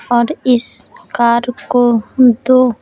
और इस कार को दो --